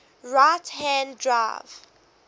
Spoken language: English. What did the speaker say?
right hand drive